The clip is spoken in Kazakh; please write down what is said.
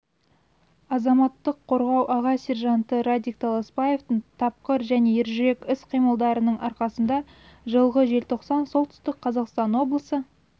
азаматтық қорғау аға сержанты радик таласбаевтың тапқыр және ержүрек іс-қимылдарының арқасында жылғы желтоқсан солтүстік қазақстан облысы